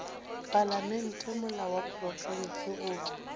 palamente molao wa profense goba